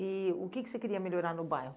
E o que que você queria melhorar no bairro?